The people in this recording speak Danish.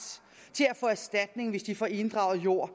til at få erstatning hvis de får inddraget jord